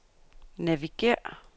navigér